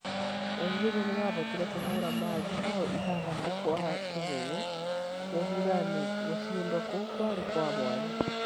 Nigeria nĩmahotire kũhura Mali mbao ithathatu gwa kĩbũgũ mũbira-inĩ gucindwo kũu kwarĩ kwa mwanya.